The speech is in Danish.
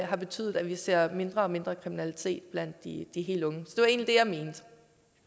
har betydet at vi ser mindre og mindre kriminalitet blandt de helt unge